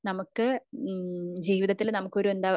നമുക് ജീവിതത്തിൽ നമുക്കൊരു എന്താ